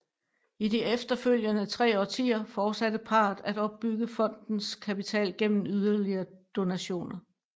I de efterfølgende tre årtier fortsatte parret at opbygge fondens kapital gennem yderligere donationer